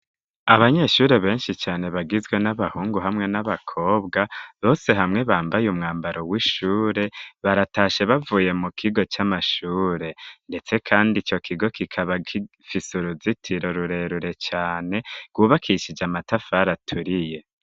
Abanyeshure benshi cane bagizwe n'abahungu hamwe n'abakobwa bose hamwe bambaye umwambaro w'ishure baratashe bavuye mu kigo c'amashure, ndetse, kandi ico kigo kikaba gifise uruzitiro rurerure cane rwubakishije amatafari aturiye.